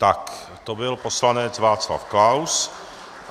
Tak to byl poslanec Václav Klaus.